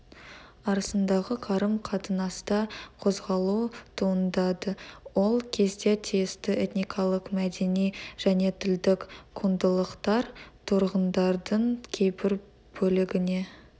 арасындағы қарым-қатынаста қозғалу туындады ол кезде тиісті этникалық мәдени және тілдік құндылықтар тұрғындардың кейбір бөлігіне